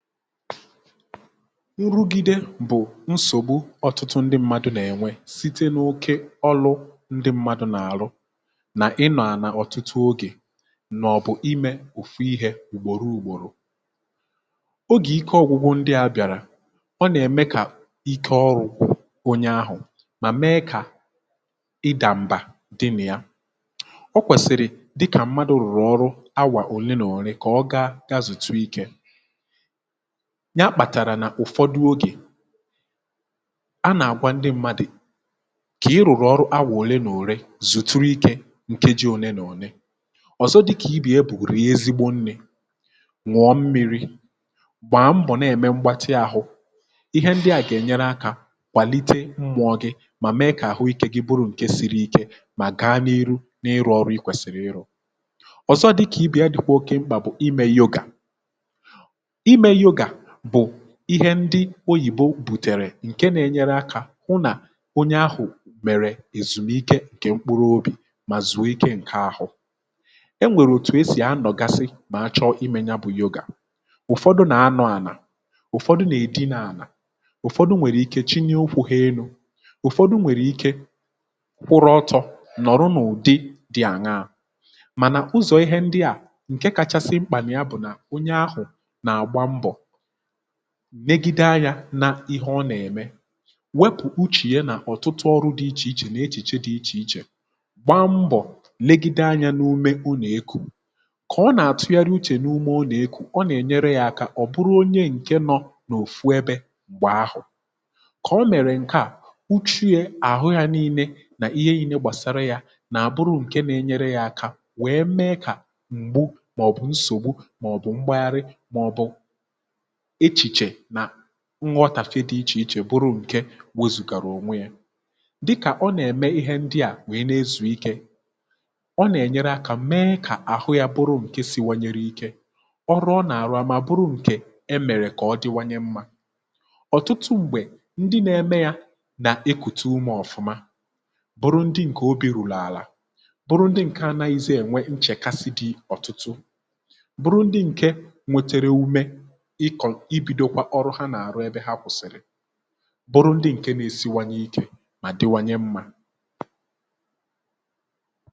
nrụgide bụ̀ nsògbu ọ̀tụtụ ndị mmadụ̇ nà-ènwe site n’okė ọlụ ndị mmadụ̇ nà-àrụ nà ị nọ̀ àla ọ̀tụtụ ogè maọ̀bụ̀ imė òfu ihė ugboro ugboro, oge ike ọ̀gwụgwụ ndị a bị̀àrà ọ nà-ème kà ike ọrụ̇ gwu onye ahụ̀ mà mee kà ịdàmbà dị nà ya o kwèsị̀rị̀ dịkà mmadụ̇ rụ̀rụ̀ ọrụ awà òle nà òle kà ọ ga gazùtu ikė, ya kpàtàrà n’ụ̀fọdụ ogè a nà-àgwa ndị mmadụ̀ kà ị rụ̀rụ̀ ọrụ awà òle nà òle zùturu ikė ǹkeji ole nà òle, ọ̀zọ dị̇kà ibe ya bù rie ezigbo nri ñuọ mmi̇ri̇ gbàa mbọ̀ na-ème mgbatị àhụ ihe ndịà gà-ènyere akȧ kwàlite mmụ̇ọ̇ gị̇ mà mee kà àhụ ikė gị bụrụ ǹke siri ike mà gaa n’iru n’ịrụ̇ ọrụ i kwèsìrì ịrụ̇ ,ọ̀zọ dịkà i bì ya dị̀kwa oke mkpà bụ̀ imė yogà ,ime yoga bụ̀ ihe ndị oyìbo bùtèrè ǹkè na-enyere akȧ hụ nà onye ahụ̀ mèrè èzùmike ǹkè mkpụrụ obì mà zùo ike ǹke ahụ, e nwèrè etù esì a nọ̀gasi mà achọ̇ imė ya bụ̇ yoga, ụ̀fọdụ nà anọ̇ àlà ụ̀fọdụ nà èdinà ànà, ụ̀fọdụ nwèrèike chilie ụkwu̇ ha elu̇, ụ̀fọdụ nwèrè ike kwụrụ ọtọ nọ̀rụ n’ụ̀dị dị àṅa mànà ụzọ̀ ihe ndị à ǹke kachasị mkpà na yà bụ̀ nà onye ahụ̀ nà àgba mbọ̀ negide anyȧ na ihe ọ nà-ème, wepụ̀ uchè ya nà ọ̀tụtụ ọrụ dị ichè ichè nà echiche dị̇ ichè ichè gbaa mbọ̀ legide anyȧ n’ume ọna ekù kà ọ nà-àtụgharị uchè n’ume ọna ekù ọ nà-ènyere yȧ aka ọ̀ bụrụ onye ǹke nọ n’òfù ẹbẹ̇ mgbe ahụ̀, kà ọ mèrè ǹke à uchiė àhụ yȧ nii̇nė nà ihe nii̇lė gbàsara yȧ nà àbụrụ ǹke nà-enyere yȧ aka wee mee kà m̀gbu màọ̀bụ̀ nsògbu màọ̀bụ̀ mgbaghari màọ̀bụ̀ echìchè nà nghọ̀tàfe dị̇ ichè ichè bụrụ ǹke wozùgàra ònwe yȧ dịkà ọ nà-ème ihe ndị à nwèe nà-ezùikė ọ nà-ènyere akȧ mee kà àhụ yȧ bụrụ ǹke siwanyere ike ọrụ ọ nà-àrụ amȧ bụrụ ǹkè e mèrè kà ọ dịwanye mmȧ ọ̀tụtụ m̀gbè ndị nȧ-eme yȧ nà ekụ̀tụ umė ọ̀fụma bụrụ ndị ǹkè obi rurù àlà bụrụ ndị ǹke anȧghịzị ènwe nchèkasi dị̇ ọ̀tụtụ bụrụ ndị ǹke nwetere ume iko ibidokwa ọrụ ha na arụ ebe ha kwụsịrị bụrụ ndị ǹke nȧ-esinwanye ikė mà dịwanye mmȧ